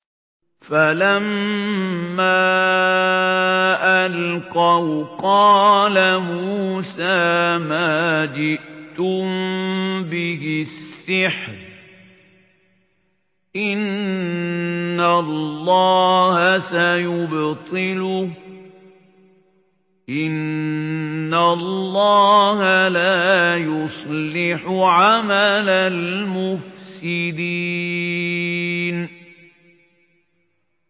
فَلَمَّا أَلْقَوْا قَالَ مُوسَىٰ مَا جِئْتُم بِهِ السِّحْرُ ۖ إِنَّ اللَّهَ سَيُبْطِلُهُ ۖ إِنَّ اللَّهَ لَا يُصْلِحُ عَمَلَ الْمُفْسِدِينَ